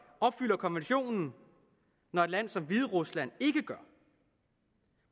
opfylder konventionen når et land som hviderusland ikke gør